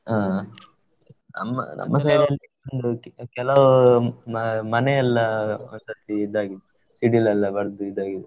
ಹಾ ನಮ್ಮ, ನಮ್ಮ side ಅಲ್ಲಿ ಕೆಲವ್ ಮನೆಯೆಲ್ಲಾ ಹೋದ್ ಸರ್ತಿ ಇದು ಆಗಿದೆ, ಸಿಡಿಲೆಲ್ಲಾ ಬಡ್ದು ಇದು ಆಗಿದೆ.